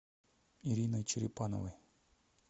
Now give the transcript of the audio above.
ириной черепановой